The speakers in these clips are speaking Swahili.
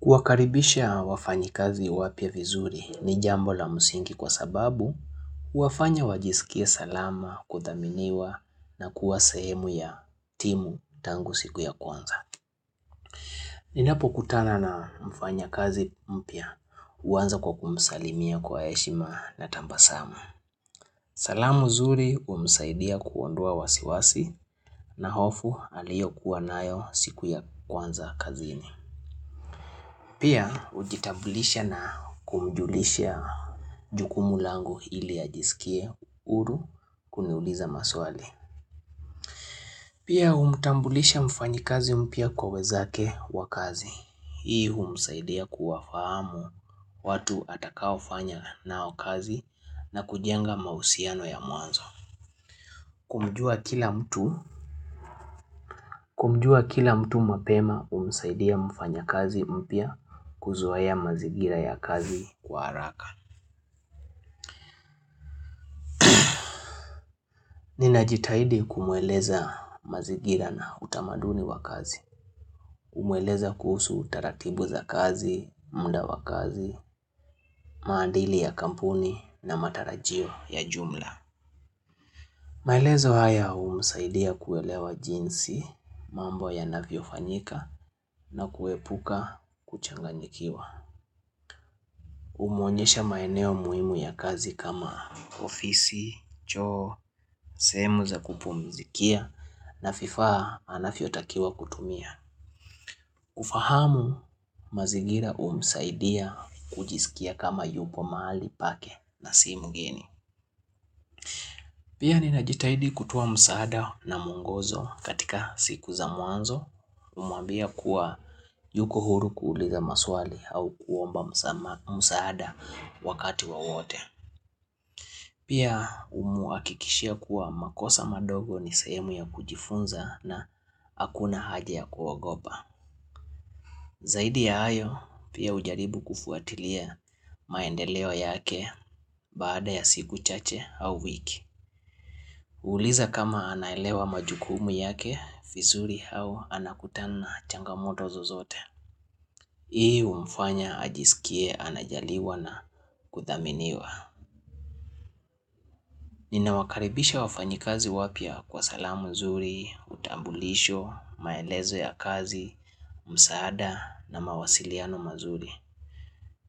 Kuwakaribisha wafanyi kazi wapya vizuri ni jambo la msingi kwa sababu huwafanya wajisikie salama kudhaminiwa na kuwa sehemu ya timu tangu siku ya kwanza. Ninapokutana na mfanya kazi mpya huanza kwa kumsalimia kwa heshima na tabasamu. Salamu zuri humsaidia kuondoa wasiwasi na hofu aliyokuwa nayo siku ya kwanza kazini. Pia, hujitambulisha na kumjulisha jukumu langu ili ajisikie huru kuniuliza maswali. Pia, humtambulisha mfanyikazi mpya kwa wenzake wa kazi. Hii, humsaidia kuwafahamu watu atakao fanya nao kazi na kujenga mahusiano ya mwanzo. Kumjua kila mtu mapema, humsaidia mfanya kazi mpya kuzoea mazingira ya kazi kwa haraka. Ninajitahidi kumueleza mazingira na utamaduni wa kazi, kumueleza kuhusu utaratibu za kazi, muda wa kazi, maadili ya kampuni na matarajio ya jumla. Maelezo haya humsaidia kuelewa jinsi mambo yanavyo fanyika na kuepuka kuchanganyikiwa. Humuonyesha maeneo muhimu ya kazi kama ofisi, choo, sehemu za kupumizikia na vifaa anavyotakiwa kutumia. Ufahamu mazigira humsaidia kujisikia kama yupo mahali pake na si mgeni. Pia ninajitahidi kutoa msaada na mwongozo katika siku za mwanzo kumwambia kuwa yuko huru kuuliza maswali au kuomba msamaha msaada wakati wa wote. Pia humhakikishia kuwa makosa madogo ni sehemu ya kujifunza na hakuna haja ya kuogopa. Zaidi ya hayo, pia hujaribu kufuatilia maendeleo yake baada ya siku chache au wiki. Kuuliza kama anaelewa majukumu yake, vizuri au anakutana na changamoto zozote. Hii umfanya ajisikie anajaliwa na kuthaminiwa. Nina wakaribisha wafanyikazi wapya kwa salamu nzuri, utambulisho, maelezo ya kazi, msaada na mawasiliano mazuri.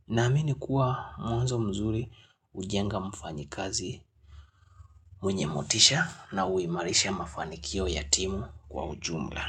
Naamini kuwa mwanzo mzuri hujenga mfanyikazi mwenye motisha na huimarisha mafanikio ya timu kwa ujumla.